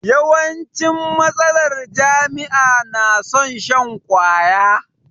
Yawancin matasar jami'a na son shan kwaya